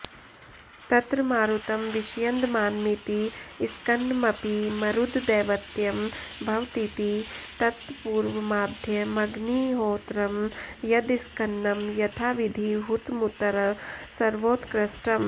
तत्र मारुतं विष्यन्दमानमिति स्कन्नमपि मरुद्दैवत्यं भवतीति तत्पूर्वमाद्यमग्निहोत्रं यदस्कन्नं यथाविधिहुतमुत्तर सर्वोत्कृष्टम्